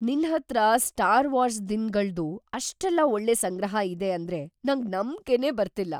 ನಿನ್‌ ಹತ್ರ Star Wars ದಿನಗಳ್ದು ಅಷ್ಟೆಲ್ಲ ಒಳ್ಳೆ ಸಂಗ್ರಹ ಇದೆ ಅಂದ್ರೆ ನಂಗ್‌ ನಂಬ್ಕೆನೇ ಬರ್ತಿಲ್ಲ!